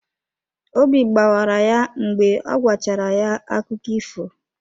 Obi gbawara ya mgbe ọ gwachara ya akụkọ ifo.